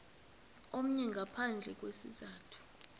omnye ngaphandle kwesizathu